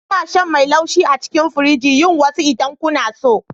Ina sha mai laushi a cikin firiji. Yi wasu idan kuna so.